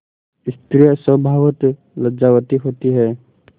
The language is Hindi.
स्त्रियॉँ स्वभावतः लज्जावती होती हैं